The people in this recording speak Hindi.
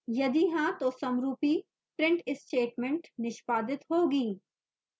यदि हाँ तो समरूपी print statement निष्पादित होगी